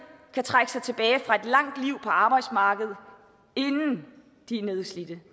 kan trække sig tilbage fra et langt liv på arbejdsmarkedet inden de er nedslidte